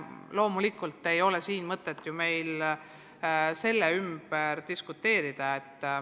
Loomulikult ei ole meil mõtet siin selle üle diskuteerida.